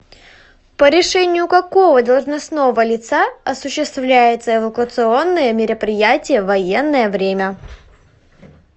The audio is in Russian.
по решению какого должностного лица осуществляются эвакуационные мероприятия в военное время